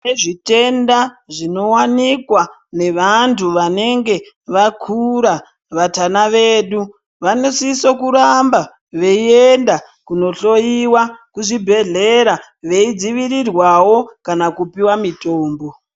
Kunezvitenda zvinowanikwa nevantu vanenge vakura vatana vedu vanosise kuramba veiyenda kuno hloyiwa kuzvibhedhelera veidzivirirwawo kana kupiwa mitombo.